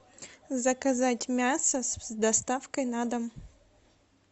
заказать мясо с доставкой на дом